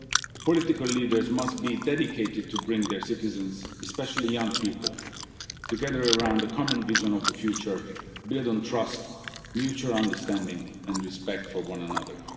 side. Political leaders must be dedicated to bring their citizens, especially young people, together around a common vision of the future, built on trust, mutual understanding and respect for one another.